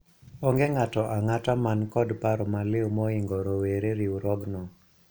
onge ng'ato ang'at man kod paro maliw moingo rowere riwruogno